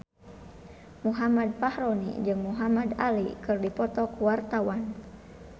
Muhammad Fachroni jeung Muhamad Ali keur dipoto ku wartawan